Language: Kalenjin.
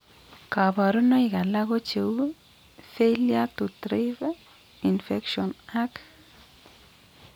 Kabarunaik alak ko cheuu : failure to thrive, infections ag